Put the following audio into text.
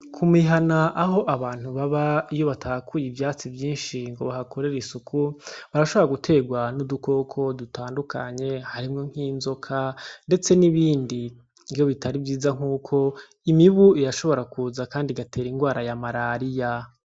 Ku mihana aho abantu baba iyo batahakuy'ivyatsi vyinshi ngo bahakorere isuku. Barashobora gutegwa n'udukoko dutandukanye ; harimwo nk'inzoka ndestse n'ibindi . Iyo bitari vyiza nkuko imibu irashobora kuza kandi igatera ingwara ya malaria.